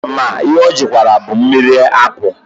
Ma ihe ọ jụkwaranụ bụ mmiri apụlụ.